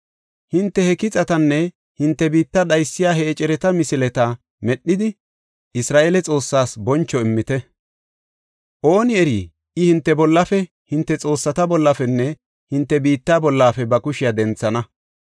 Hinte he kixatanne hinte biitta dhaysiya he ecereta misileta medhidi, Isra7eele Xoossaas boncho immite. Ooni eri I hinte bollafe, hinte xoossata bollafenne hinte biitta bollafe ba kushiya denthana.